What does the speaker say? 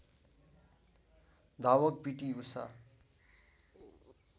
धावक पिटी उषा